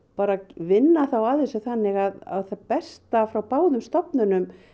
vinna þá að þessu þannig að það besta frá báðum stofnunum